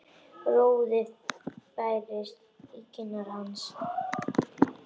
Roði færist í kinnar hans.